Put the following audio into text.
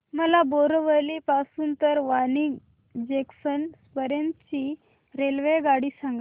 मला बोरिवली पासून तर वापी जंक्शन पर्यंत ची रेल्वेगाडी सांगा